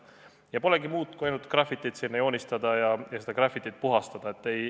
Nii et polegi muud, kui ainult grafitit sinna joonistada ja seda grafitit puhastada.